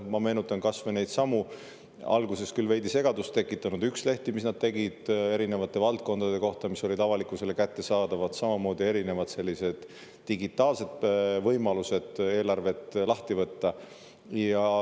Ma meenutan kas või neidsamu alguses küll veidi segadust tekitanud ükslehti, mis nad tegid erinevate valdkondade kohta ja mis olid avalikkusele kättesaadavad, samamoodi erinevaid selliseid digitaalseid võimalusi eelarvet lahti võtta.